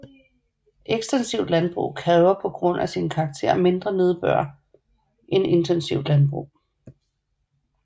Ekstensivt landbrug kræver på grund af sin karakter mindre nedbør end intensivt landbrug